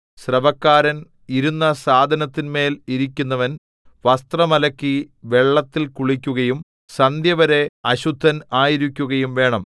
സ്രവക്കാരൻ ഇരുന്ന സാധനത്തിന്മേൽ ഇരിക്കുന്നവൻ വസ്ത്രം അലക്കി വെള്ളത്തിൽ കുളിക്കുകയും സന്ധ്യവരെ അശുദ്ധൻ ആയിരിക്കുകയും വേണം